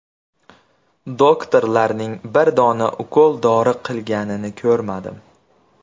Doktorlarning bir dona ukol-dori qilganini ko‘rmadim.